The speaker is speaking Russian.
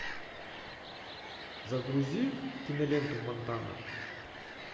загрузи киноленту монтана